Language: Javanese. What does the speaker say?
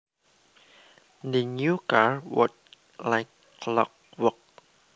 The new car worked like clockwork